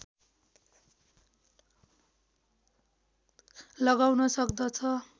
लगाउन सक्दछ